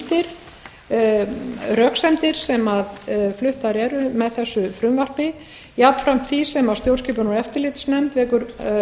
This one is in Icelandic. undir röksemdir sem fluttar eru með þessu frumvarpi jafnframt því sem stjórnskipunar og eftirlitsnefnd